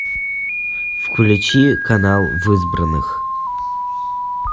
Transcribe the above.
включи канал в избранных